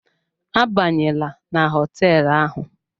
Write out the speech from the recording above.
Abanyela na hoteelu ahụ.